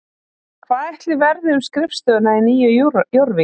Hvað ætli verði um skrifstofuna í Nýju Jórvík?